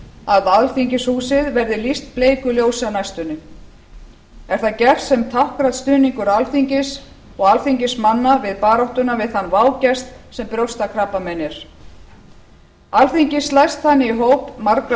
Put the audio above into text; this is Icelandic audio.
að alþingishúsið verði lýst bleiku ljósi á næstunni er það gert sem táknrænn stuðningur alþingis og alþingismanna við baráttuna við þann vágest sem brjóstakrabbamein er alþingi slæst þannig í hóp margra